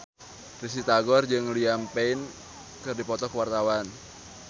Risty Tagor jeung Liam Payne keur dipoto ku wartawan